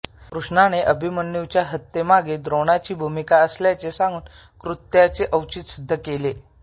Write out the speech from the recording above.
कृष्णाने अभिमन्यूच्या हत्येमध्ये द्रोणाची भूमिका असल्याचे सांगून कृत्याचे औचित्य सिद्ध केले